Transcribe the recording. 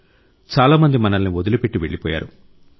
చాలామంది మనల్ని వదిలిపెట్టి వెళ్లిపోయారు